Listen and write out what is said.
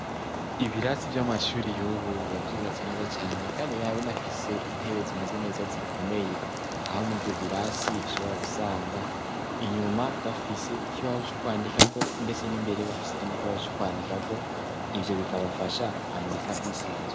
Ibirasi vy'amashuri yubu bbavyubatse neza cane, kandi binabinafise intebe zimeze neza zikomeye aho mu vyo birasi ashobora gusanga inyuma bafise ikibaho c'ukwandikako, ndetse n'imbere bafise ikindi ikibaho c'ukwandikako ivyo bikabafasha kwandika bisanzwe.